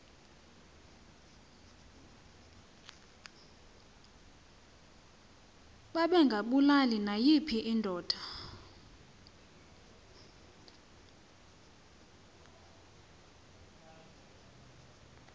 babengabulali nayiphi indoda